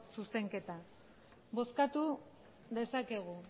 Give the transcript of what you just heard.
zuzenketa bozkatu dezakegu